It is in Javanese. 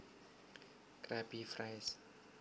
Krabby Fries